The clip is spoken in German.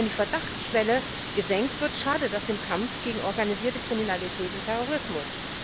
Wenn die Verdachtsschwelle gesenkt wird, schadet das dem Kampf gegen organisierte Kriminalität und Terrorismus.